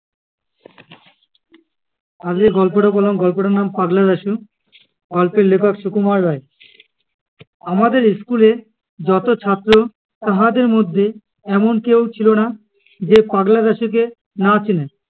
আগে যে গল্পটা বললাম, গল্পটার নাম পাগলা দাশু। গল্পের লেখক সুকুমার রায়। আমাদের school এ যত ছাত্র তাহাদের মধ্যে এমন কেউ ছিল না, যে পাগলা দাশুকে না চিনে।